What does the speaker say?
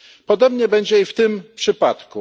Podobnie będzie i w tym przypadku.